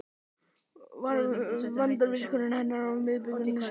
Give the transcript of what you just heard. Var vandvirkni hennar við brugðið og smekkvísi.